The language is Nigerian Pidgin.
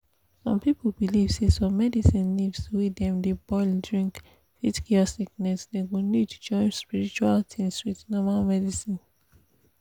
some people believe say some medicine leaves wey dem de boil drink fit currant sickness dey go need join spiritual things with normal medicine